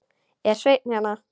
Er Sveinn hérna?